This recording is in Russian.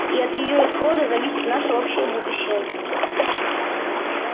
и от её исхода зависит наше общее будущее